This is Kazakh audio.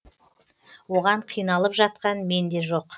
оған қиналып жатқан мен де жоқ